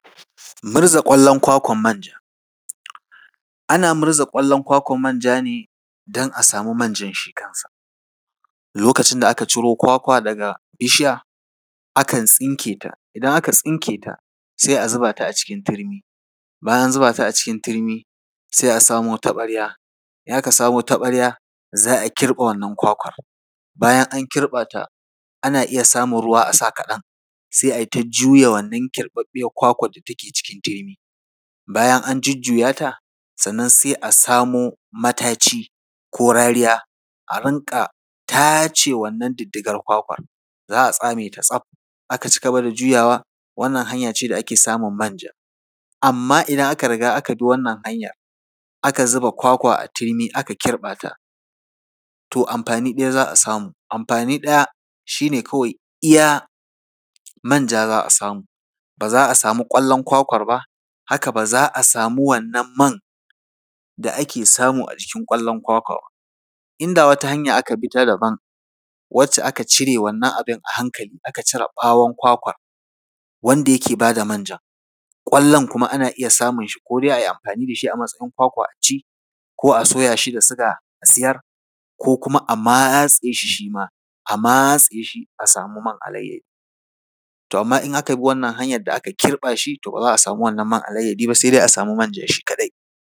Murza ƙwallon kwakwar manja. Ana murza ƙwallon kwakwar manja ne don a samu manjan shi kansa. Lokacin da aka ciro kwakwa daga bishiya, akan tsinke ta. Idan aka tsinke ta, sai a zuba ta a cikin turmi, bayan an zuba ta a cikin turmi, sai a samo taɓarya, in aka samo taɓarya, za a kirɓa wannan kwakwar. Bayan an kirɓa ta, ana iya sa ruwa kaɗan, sai a yi ta juya wannan kwakwar da take cikin turmi, bayan an jujjuya ta, sannan sai a samo mataci ko rariya, a rinƙa tace wannan diddigar kwakwar. Za a tsame ta tsaf, a ci gaba da juyawa. Wannan hanya ce da ake samun manja. Amma idan aka riga aka bi wannan hanyar, aka zuba kwakwa a turmi aka kirɓa ta, to amfani ɗaya za a samu, amfani ɗaya kawai shi ne iya manja za a samu, ba za a samu ƙwallon kwakwar ba, haka ba za a samu wannan man da ake samu a jikin ƙwallon kwakwa ba. Inda wata hanya aka bi ta daban, wacce aka bi abin a hankali, aka cire ɓawon kwakwar, wanda yake ba da manjan, ƙwallon kuma ana iya samun shi ko dai a yi amfani da shi a matsayin kwakwa a ci, ko a soya shi da suga a siyar, ko kuma a matse shi, shi ma, a matse shi, a samu man alayyadi. To amma idan aka bi wannan hanyar da aka kirɓa shi, to ba za a samu wannan man alayyadi ba, sai dai a samu manjan shi kaɗai.